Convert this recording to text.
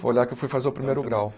Foi lá que eu fui fazer o primeiro grau.